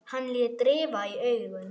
Hann lét rifa í augun.